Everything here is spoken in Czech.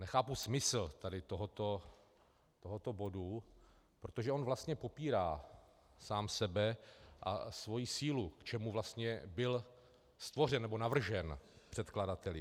Nechápu smysl tady tohoto bodu, protože on vlastně popírá sám sebe a svoji sílu, k čemu vlastně byl stvořen nebo navržen předkladateli.